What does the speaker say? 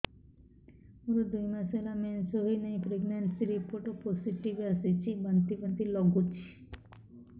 ମୋର ଦୁଇ ମାସ ହେଲା ମେନ୍ସେସ ହୋଇନାହିଁ ପ୍ରେଗନେନସି ରିପୋର୍ଟ ପୋସିଟିଭ ଆସିଛି ବାନ୍ତି ବାନ୍ତି ଲଗୁଛି